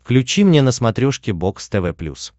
включи мне на смотрешке бокс тв плюс